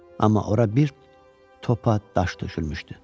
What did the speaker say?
Amma ora bir topa daş tökülmüşdü.